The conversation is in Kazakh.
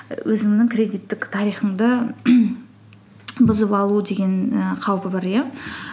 өзіңнің кредиттік тарихыңды бұзып алу деген ііі қаупі бар иә